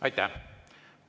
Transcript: Aitäh!